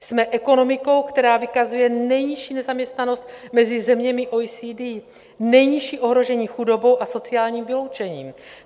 Jsme ekonomikou, která vykazuje nejnižší nezaměstnanost mezi zeměmi OECD, nejnižší ohrožení chudobou a sociálním vyloučením.